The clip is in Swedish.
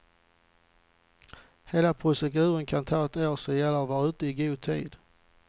Hela proceduren kan ta ett år, så det gäller att vara ute i god tid.